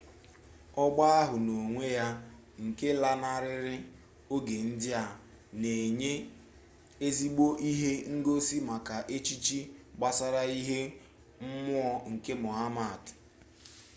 ọgba ahụ n'onwe ya nke lanarịrị oge ndị a na-enye ezigbo ihe ngosi maka echiche gbasara ihe mmụọ nke muhammad